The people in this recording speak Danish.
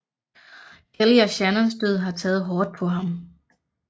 Kelly og Shannons død har taget hårdt på ham